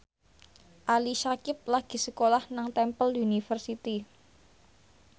Ali Syakieb lagi sekolah nang Temple University